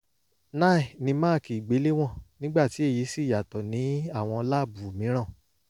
nine ni máàkì ìgbéléwọ̀n nígbà tí èyí sì yàtọ̀ ní àwọn láàbù mìíràn